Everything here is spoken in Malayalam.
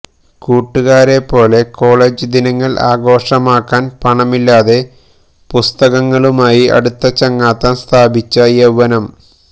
കൂട്ടുകാരെപോലെ കോളജ് ദിനങ്ങള് ആഘോഷമാക്കാന് പണമില്ലാതെ പുസ്തകങ്ങളുമായി അടുത്ത ചങ്ങാത്തം സ്ഥാപിച്ച യൌവനം